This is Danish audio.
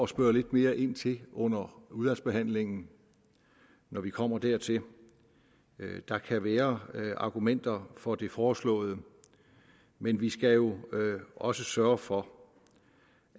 spørge lidt mere ind til under udvalgsbehandlingen når vi kommer dertil der kan være argumenter for det foreslået men vi skal jo også sørge for